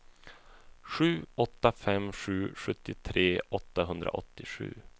sju åtta fem sju sjuttiotre åttahundraåttiosju